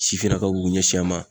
Sifinnakaw b'u k'u kun ɲɛsin a ma